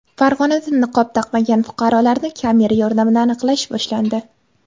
Farg‘onada niqob taqmagan fuqarolarni kamera yordamida aniqlash boshlandi.